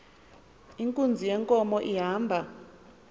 inkunzi yenkomo ihamba